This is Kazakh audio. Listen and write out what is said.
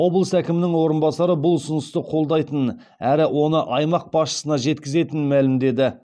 облыс әкімінің орынбасары бұл ұсынысты қолдайтынын әрі оны аймақ басшысына жеткізетінін мәлімдеді